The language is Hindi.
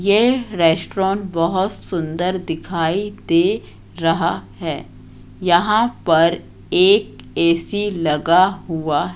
ये रेस्टोरोन बहोत सुंदर दिखाई दे रहा है यहां पर एक ए_सी लगा हुआ--